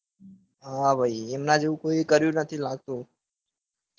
હા ભાઈ એમના જેવું કોઈએ કર્યું નથી લાગતું.